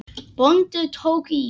Bóndi tók í.